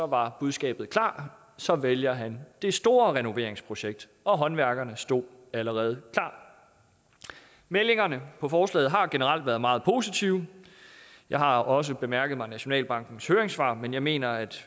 var budskabet klart så ville han det store renoveringsprojekt og håndværkerne stod allerede klar meldingerne på forslaget har generelt været meget positive jeg har også bemærket nationalbankens høringssvar men jeg mener at